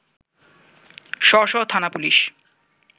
স্ব স্ব থানা পুলিশ